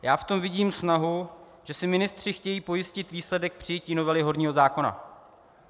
Já v tom vidím snahu, že si ministři chtějí pojistit výsledek přijetí novely horního zákona.